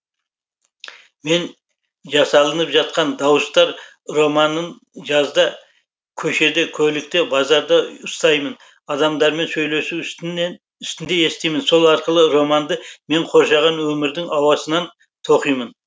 мен жасалынып жатқан дауыстар романын жазда көшеде көлікте базарда ұстаймын адамдармен сөйлесу үстінде естимін сол арқылы романды мені қоршаған өмірдің ауасынан тоқимын